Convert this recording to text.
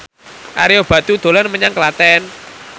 Ario Batu dolan menyang Klaten